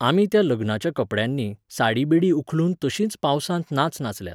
आमी त्या लग्नाच्या कपड्यांनी, साडी बिडी उखलून तशींच पावसांत नाच नाच नाचल्यांत